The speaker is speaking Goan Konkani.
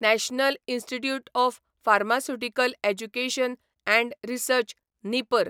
national institute of pharmaceutical education and research निपर